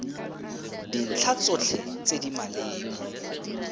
dintlha tsotlhe tse di maleba